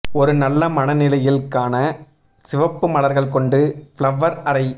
ஒரு நல்ல மனநிலையில் க்கான சிவப்பு மலர்கள் கொண்டு ஃப்ளவர் அறை